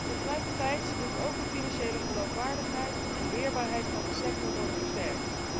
Tegelijkertijd moeten ook de financiële geloofwaardigheid en weerbaarheid van de sector worden versterkt.